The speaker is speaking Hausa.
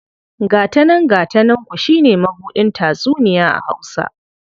Gata nan gata nanku shi ne mabuɗin tatsuniya a Hausa..